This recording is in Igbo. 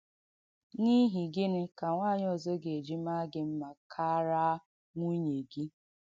N’īhị gị̣nī ka nwànyị ọ̀zọ̀ ga-eji maa gị mma kárá nwùnye gị?”